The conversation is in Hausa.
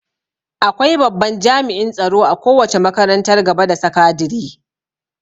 Akwai babban jami'in tsaro a kowace makarantar gaba da sakadire